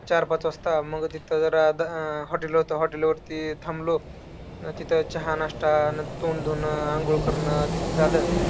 मग चार पाच वाजता, मग तिथं जरा hotel होतं, hotel वरती थांबलो, तिथं चहा नाश्ता, तोंड धुणं, अंघोळ करणं ते झालं.